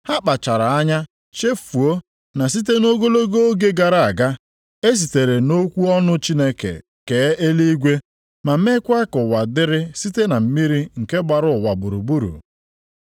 Ha kpachaara anya chefuo na site nʼogologo oge gara aga, e sitere nʼokwu ọnụ Chineke kee eluigwe ma meekwa ka ụwa dịrị site na mmiri nke gbara ụwa gburugburu.